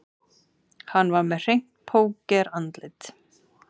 Hann var með hreint pókerandlit